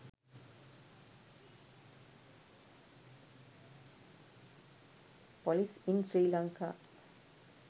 police in sri lanka